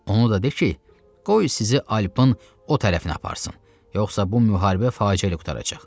Onu da de ki, qoy sizi Alpın o tərəfinə aparsın, yoxsa bu müharibə faciəli qurtaracaq.